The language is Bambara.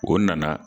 O nana